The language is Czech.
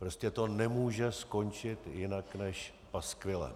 Prostě to nemůže skončit jinak než paskvilem.